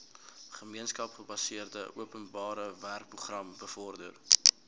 gemeenskapsgebaseerde openbarewerkeprogram bevorder